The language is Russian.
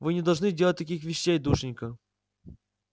вы не должны делать таких вещей душенька